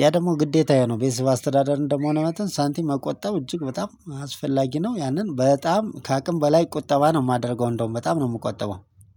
ያ ደግሞ ግዴታዬ ነው ቤተሰብ አስተዳደር እንደመሆን አመተን ሳንቲም መቆጠብ እጅግ በጣም አስፈላጊ ነው። ያንን በጣም ከአቅም በላይ ቁጠባ ነው የማደርገው እንደውም በጣም ነው የምቆጠበው